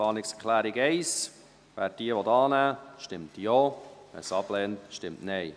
Wer die Planungserklärung 1 annehmen will, stimmt Ja, wer diese ablehnt, stimmt Nein.